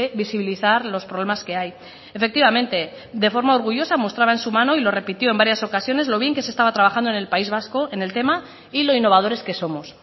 visibilizar los problemas que hay efectivamente de forma orgullosa mostraba en su mano y lo repitió en varias ocasiones lo bien que se estaba trabajando en el país vasco en el tema y lo innovadores que somos